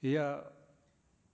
и я